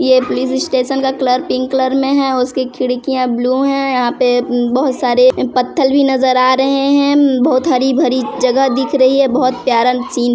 यह police station का colour pink colour मे है और उसकी खिड़कियां ब्लू है यहाँ पे बहोत सारे पत्थल भी नज़र आ रहे है बहोत हरी भरी जगह दिख रही है बहोत प्यारा सीन --